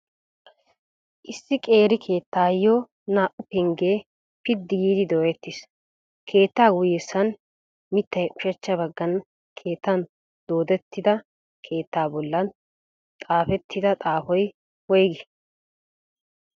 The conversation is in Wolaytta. Issi qeeri keettayo naa"u penggee piddi giidi dooyettiis. keettaa guyessan mittay ushshachcha baggan keettan doodettida keettaa bollan xaafetida xaafoy woygii?